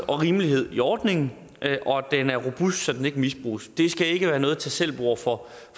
og rimelighed i ordningen og at den er robust så den ikke misbruges det skal ikke være noget tag selv bord for